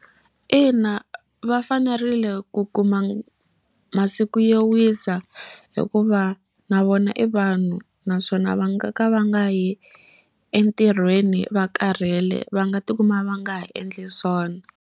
Ina va fanerile ku kuma masiku yo wisa hikuva na vona i vanhu naswona va nga ka va nga yi entirhweni va karhele va nga ti kuma va nga ha endli swona.